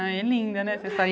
Ai, linda, né?